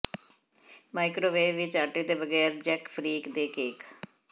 microwave ਵਿੱਚ ਆਟੇ ਦੇ ਬਗੈਰ ਜੈਕ ਫ੍ਰੀਕ ਦੇ ਕੇਕ